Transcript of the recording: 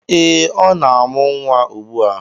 Eh, ọ na-amụ nwa ugbua.